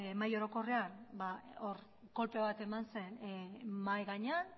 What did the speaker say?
mahai orokorrean hor kolpe bat eman zen mahai gainean